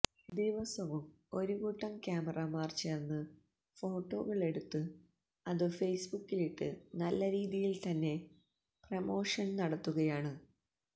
ദിവസവും ഒരു കൂട്ടം ക്യാമറാമാന്മാര് ചേര്ന്ന് ഫോട്ടോകളെടുത്ത് അത് ഫേസ്ബുക്കിലിട്ട് നല്ല രീതിയില് തന്നെ പ്രൊമോഷന് നടത്തുകയാണ്